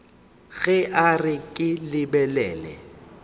ge a re ke lebelela